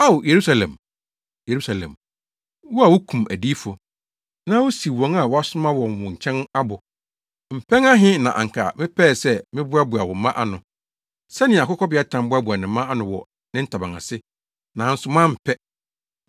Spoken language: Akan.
“Ao Yerusalem, Yerusalem, wo a wukum adiyifo, na wusiw wɔn a wɔasoma wɔn wo nkyɛn abo, mpɛn ahe na anka mepɛɛ sɛ meboaboa wo mma ano, sɛnea akokɔbeatan boaboa ne mma ano wɔ ne ntaban ase, nanso moampɛ!